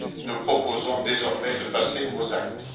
Nous proposons désormais de passer aux actes.